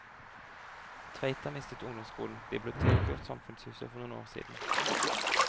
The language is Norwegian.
Tveita mistet ungdomsskolen, biblioteket og samfunnshuset for noen år siden.